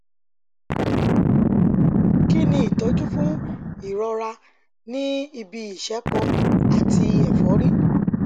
kí ni ìtọjú fún ìrọra ní ibi ìṣẹpo àti èfọrí